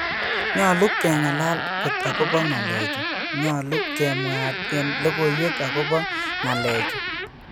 Nyole kengalal kot akopo ngalechu, Nyolu kemwaat en logoiiwek agopo ngalechu.